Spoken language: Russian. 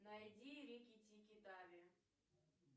найди рикки тикки тави